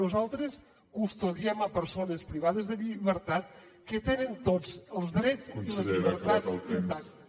nosaltres custodiem persones privades de llibertat que tenen tots els drets i les llibertats intactes